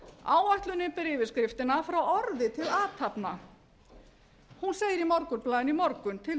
áætlunin ber yfirskriftina frá orði til athafna hún segir í morgunblaðinu í morgun